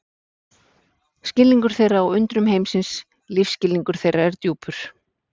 Skilningur þeirra á undrum heimsins lífsskilningur þeirra er djúpur.